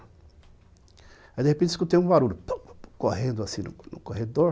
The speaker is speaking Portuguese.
Aí de repente eu escutei um barulho, correndo assim no corredor.